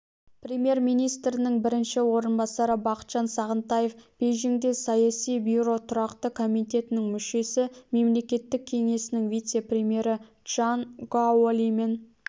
премьер-министрінің бірінші орынбасары бақытжан сағынтаев бейжіңде саяси бюро тұрақты комитетінің мүшесі мемлекеттік кеңесінің вице-премьері чжан гаолимен